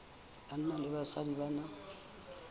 banna le basadi ba na